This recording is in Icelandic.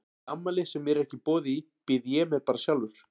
Í afmæli sem mér er ekki boðið í býð ég mér bara sjálfur.